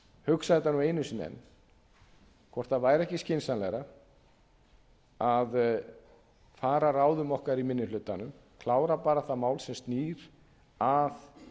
hugsa þetta nú einu sinni enn hvort það væri ekki skynsamlegra að fara að ráðum okkar í minni hlutanum klára bara það mál sem snýr að